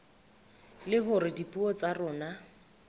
le hore dipuo tsa rona